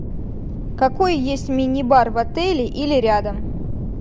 какой есть мини бар в отеле или рядом